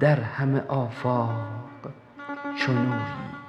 در همه آفاق چنویی